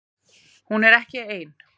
Hún er ekki ein